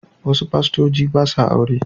Wasu fastoci ba sa aure.